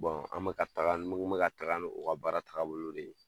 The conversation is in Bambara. an bɛ ka taga ne ko me ka taga n'o o ka baara tagabolo de ye.